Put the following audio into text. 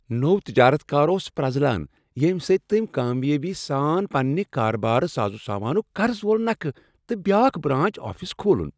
نو تجارتکار اوس پرٛزلان ییٚمہِ سۭتۍتٔمۍ کامیٲبی سان پنٛنہِ کارٕبارساز و سامانک قرض وول نکھٕ تہٕ بیٛاکھ برانچ آفس کھوٗلن۔